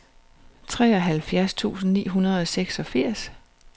treoghalvfjerds tusind ni hundrede og seksogfirs